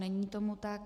Není tomu tak.